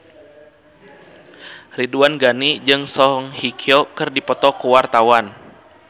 Ridwan Ghani jeung Song Hye Kyo keur dipoto ku wartawan